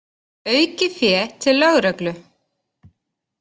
Aukið fé til lögreglu